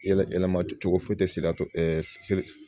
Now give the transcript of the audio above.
Yɛlɛ yɛlɛma cogo sira